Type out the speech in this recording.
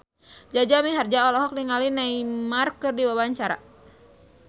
Jaja Mihardja olohok ningali Neymar keur diwawancara